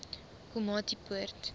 komatipoort